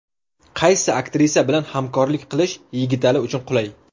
Qaysi aktrisa bilan hamkorlik qilish Yigitali uchun qulay?